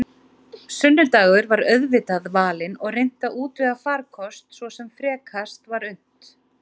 Sunnudagur var auðvitað valinn og reynt að útvega farkost svo sem frekast var unnt.